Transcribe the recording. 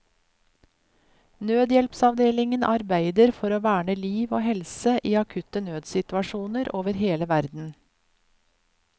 Nødhjelpsavdelingen arbeider for å verne liv og helse i akutte nødssituasjoner over hele verden.